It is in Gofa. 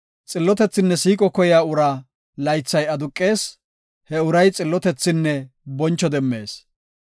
Xillotethinne siiqo koyiya uraa laythay aduqees; he uray xillotethinne boncho demmees.